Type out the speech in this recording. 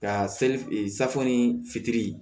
Ka safɔni fitiinin